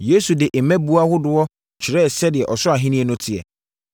Yesu de mmɛbuo ahodoɔ kyerɛɛ sɛdeɛ Ɔsoro Ahennie no teɛ.